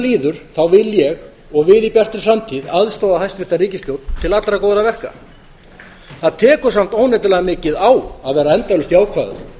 líður vil ég og við í bjartri framtíð aðstoða hæstvirta ríkisstjórn til allra góðra verka það tekur samt óneitanlega mikið á að vera endalaust jákvæður